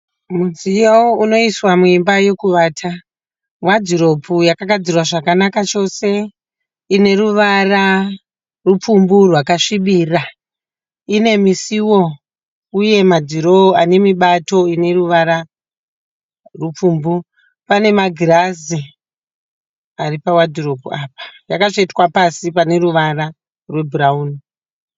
Mudziyo unoiswa muimba yekuvata wadhiropu yakagadzirwa zvakanaka chose ine ruvara rupfumbu rwakasvibira ine misuwo uye madhirowa anemibato ine ruvara rupfumbu. Pane magirazi ari pawadhiropu apa yakatsvetwa pasi pane ruvara rwebhurauni.